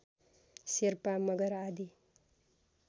शेर्पा मगर आदि